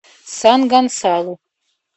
сан гонсалу